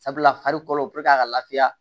Sabula fari kɔrɔ puruke a ka lafiya